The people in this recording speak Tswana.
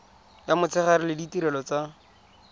ya motshegare le ditirelo tsa